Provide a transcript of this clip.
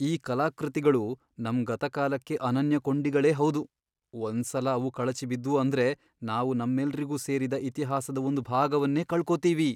ಈ ಕಲಾಕೃತಿಗಳು ನಮ್ ಗತಕಾಲಕ್ಕೆ ಅನನ್ಯ ಕೊಂಡಿಗಳೇ ಹೌದು, ಒಂದ್ಸಲ ಅವು ಕಳಚಿ ಬಿದ್ವು ಅಂದ್ರೆ ನಾವು ನಮ್ಮೆಲ್ರಿಗೂ ಸೇರಿದ ಇತಿಹಾಸದ ಒಂದ್ ಭಾಗವನ್ನೇ ಕಳ್ಕೊತೀವಿ.